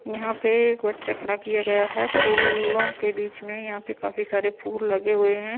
यहां पे एक बच्चा खड़ा किया गया है फूलों के बीच में यहां पे काफी सारे फूल लगे हुए हैं।